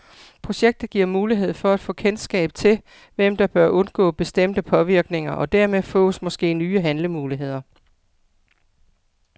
Projektet giver mulighed for at få kendskab til, hvem der bør undgå bestemte påvirkninger, og dermed fås måske nye handlemuligheder.